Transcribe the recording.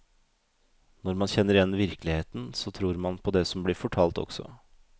Når man kjenner igjen virkeligheten, så tror man på det som blir fortalt også.